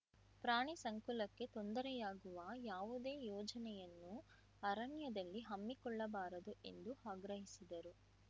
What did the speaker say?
ಪ್ರಾಣಿ ಸಂಕುಲಕ್ಕೆ ತೊಂದರೆಯಾಗುವ ಯಾವುದೇ ಯೋಜನೆಯನ್ನು ಅರಣ್ಯದಲ್ಲಿ ಹಮ್ಮಿಕೊಳ್ಳಬಾರದು ಎಂದು ಆಗ್ರಹಿಸಿದರು